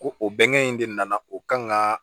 Ko o bɛnkan in de nana o kan ka